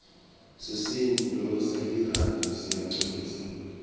sisinduo selirandi siyancumisa